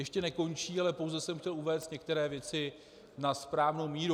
Ještě nekončí, ale pouze jsem chtěl uvést některé věci na správnou míru.